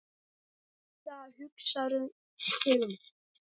Rikka hugsar sig um.